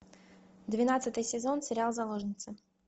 двенадцатый сезон сериал заложница